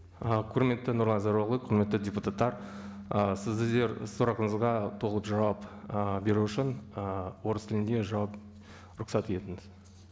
і құрметті нұрлан зайроллаұлы құрметті депутаттар і сіздер сұрақтарыңызға толық жауап ііі беру үшін ііі орыс тілінде жауап рұқсат етіңіз